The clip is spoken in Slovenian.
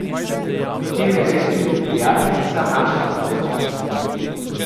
Potem je res tudi prijateljica našla kos zase.